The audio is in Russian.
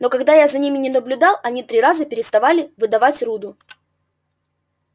но когда я за ними не наблюдал они три раза переставали выдавать руду